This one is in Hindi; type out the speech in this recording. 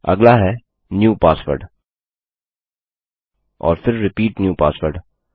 अगला है न्यू पासवर्ड और फिर रिपीट न्यू पासवर्ड